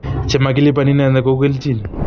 che makeliban inendet ko u keljin.